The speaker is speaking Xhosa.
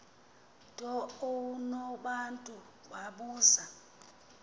nto unobantu wabuza